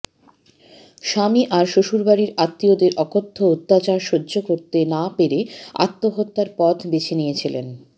স্বামী আর শ্বশুড়বাড়ির আত্মীয়দের অকথ্য অত্যাচার সহ্য করতে না পেরে আত্মহত্যার পথ বেছে নিয়েছিলেন